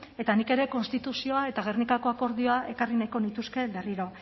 eta nik ere konstituzioa eta gernikako akordioa ekarri nahiko nituzke berriro